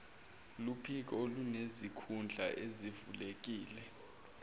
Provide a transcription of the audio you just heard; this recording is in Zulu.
luphiko olunesikhundla esivulekile